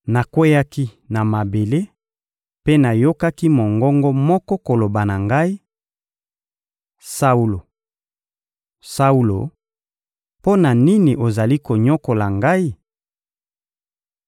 Nakweyaki na mabele mpe nayokaki mongongo moko koloba na ngai: «Saulo, Saulo, mpo na nini ozali konyokola Ngai?»